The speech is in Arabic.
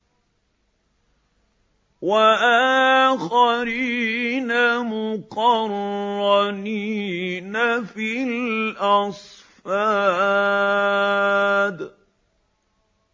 وَآخَرِينَ مُقَرَّنِينَ فِي الْأَصْفَادِ